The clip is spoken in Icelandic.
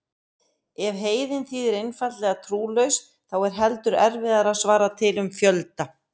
Ef heiðinn þýðir einfaldlega trúlaus þá er heldur erfiðara að svara til um fjölda.